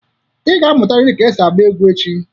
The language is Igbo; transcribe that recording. Ị ga-amụrịrị ka esi agba egwu echi